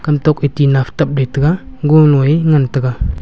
kamtok fe fetabley tega gonoe ngan taiga.